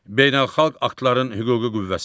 Beynəlxalq aktların hüquqi qüvvəsi.